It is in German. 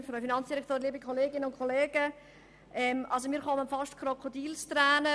Als ich Grossrat Freudiger zugehört habe, kamen mir beinahe Krokodilstränen.